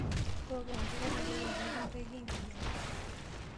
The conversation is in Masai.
Tooko enkare nairowua pee kintaiki enkijape.